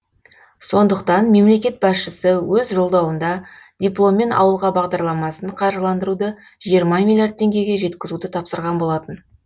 сондықтан мемлекет басшысы өз жолдауында дипломмен ауылға бағдарламасын қаржыландыруды жиырма миллиард теңгеге жеткізуді тапсырған болатын